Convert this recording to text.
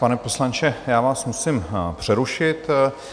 Pane poslanče, já vás musím přerušit.